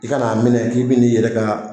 I kana'a minɛ k'i bɛ ni yɛrɛ ka.